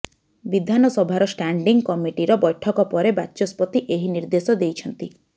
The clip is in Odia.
ବିଧାନସଭାର ଷ୍ଟାଣ୍ଡିଂ କମିଟିର ବୈଠକ ପରେ ବାଚସ୍ପତି ଏହି ନିର୍ଦ୍ଦେଶ ଦେଇଛନ୍ତି